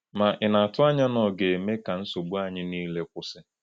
Ma ị na-atụ anya na ọ ga-eme ka nsogbu anyị niile kwụsị?